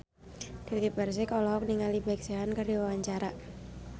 Dewi Persik olohok ningali Big Sean keur diwawancara